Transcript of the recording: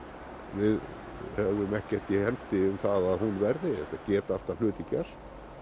við höfum ekkert í hendi um það að hún verði auðvitað geta alltaf hlutir gerst